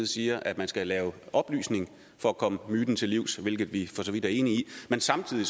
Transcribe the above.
siger at man skal lave oplysning for at komme myten til livs hvilket vi for så vidt er enige i men samtidig